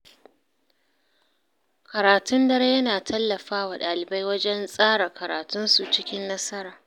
Karatun dare yana tallafa wa dalibai wajen tsara karatunsu cikin nasara.